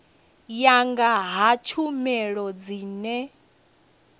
ya nga ha tshumelo dzine